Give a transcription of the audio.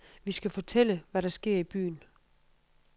Vi skal fortælle, hvad der sker i byen.